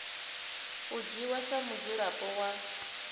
u dzhiwa sa mudzulapo wa